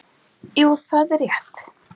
Jú, það er rétt.